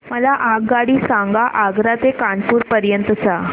मला आगगाडी सांगा आग्रा ते कानपुर पर्यंत च्या